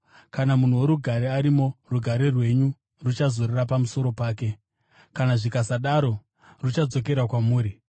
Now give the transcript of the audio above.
Kana munhu worugare arimo, rugare rwenyu ruchazorora pamusoro pake; kana zvikasadaro, ruchadzokera kwamuri.